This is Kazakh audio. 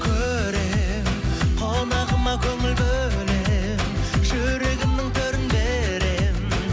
көремін қонағыма көңіл бөлемін жүрегімнің төрін беремін